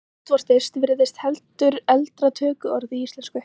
Útvortis virðist heldur eldra tökuorð í íslensku.